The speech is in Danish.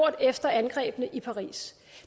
efter angrebene i paris